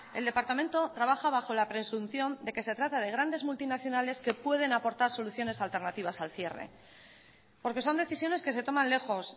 el departamento trabaja bajo la presunción de que se trata de grandes multinacionales que pueden aportar soluciones alternativas al cierre porque son decisiones que se toman lejos